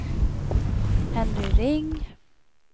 Henry Ring